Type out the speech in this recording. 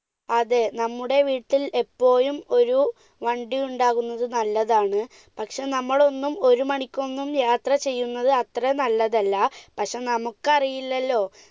അതെ, നമ്മുടെ വീട്ടിൽ എപ്പോഴും ഒരു വണ്ടിയുണ്ടാകുന്നത് നല്ലതാണ്, പക്ഷെ നമ്മൾ ഒന്നും ഒരു മണിക്കൊന്നും യാത്ര ചെയ്യുന്നത് അത്ര നല്ലതല്ല. പക്ഷെ നമുക്കറിയില്ലല്ലോ.